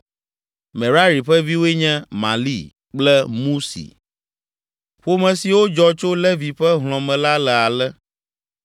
Merari ƒe viwoe nye: Mahli kple Musi. Ƒome siwo dzɔ tso Levi ƒe hlɔ̃ me la le ale: